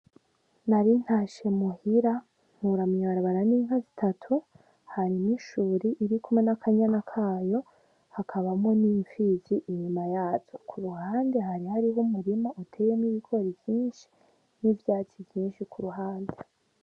Nari ntashe muhira, mpura mw'ibarabara n'inka zitatu, hanyuma ishuri iri kumwe n'akanyana kayo, hakabamwo n'impfizi inyuma yazo. Ku ruhande hari hariho umurima uteyemwo ibigori vyinshi n'ivyatsi vyinshi ku ruhande.